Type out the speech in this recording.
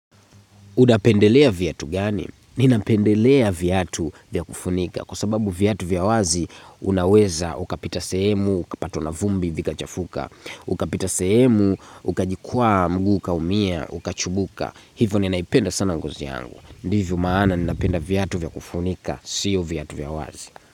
Unapendelea viatu gani? Ninapendelea viatu vyakufunika kwa sababu viatu vya wazi unaweza ukapita sehemu, ukapatwa na vumbi vikachafuka, ukapita sehemu, ukajikwaa mguu ukaumia, ukachubuka. Hivyo ninaipenda sana ngozi yangu. Ndivyo maana ninapenda viatu vya kufunika, siyo viatu vya wazi.